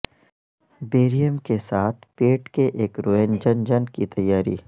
barium کے ساتھ پیٹ کے ایک روینجنجن کی تیاری